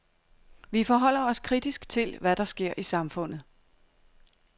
Vi forholder os kritisk til, hvad der sker i samfundet.